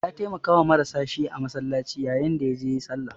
Ya taimakawa marasa shi a masallaci yayin da ya je sallah.